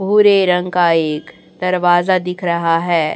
भूरे रंग का एक दरवाजा दिख रहा है।